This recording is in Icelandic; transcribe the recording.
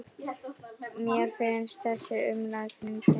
Mér finnst þessi umræða fyndin.